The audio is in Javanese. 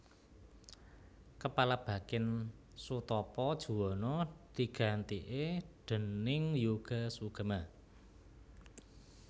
Kepala Bakin Soetopo Juwono digantike déning Yoga Sugama